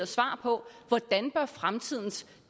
svar på hvordan fremtidens